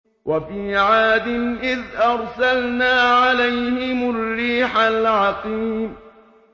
وَفِي عَادٍ إِذْ أَرْسَلْنَا عَلَيْهِمُ الرِّيحَ الْعَقِيمَ